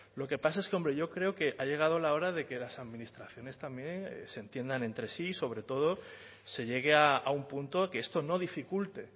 lo que pasa es que hombre yo creo que ha llegado la hora de que las administraciones también se entiendan entre sí sobre todo se llegue a un punto que esto no dificulte